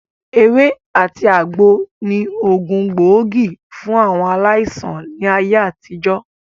Ewé àti àgbo ni ògùn gbóògì fún àwọn aláìsàn ní ayé àtijọ́